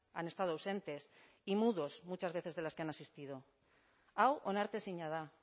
han estado ausentes y mudos muchas veces de las que han asistido hau onartezina da